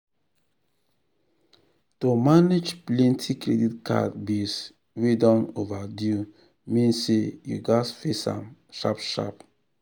to manage plenty credit card bills wey don overdue mean say you gats face am sharp sharp.